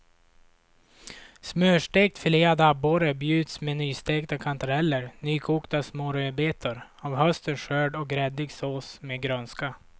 Smörstekt filead abborre bjuds med nystekta kantareller, nykokta små rödbetor av höstens skörd och gräddig sås med grönska.